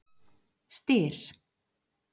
Styr